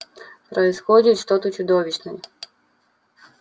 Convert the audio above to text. происходит что-то чудовищное